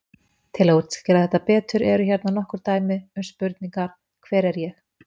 Til þess að útskýra þetta betur eru hérna nokkur dæmi um spurningar: Hver er ég?